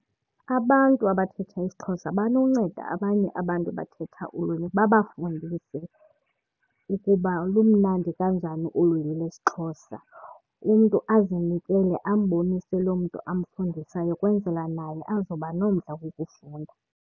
Abantu abathetha isiXhosa banonceda abanye abantu abathetha ulwimi babafundise ukuba lumnandi kanjani ulwimi lwesiXhosa. Umntu azinikele ambonise loo mntu amfundisayo ukwenzela naye azoba nomdla wokufunda.